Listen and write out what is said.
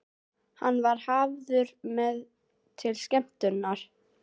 Hann var hafður með til skemmtunar.